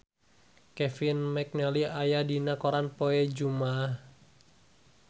Kevin McNally aya dina koran poe Jumaah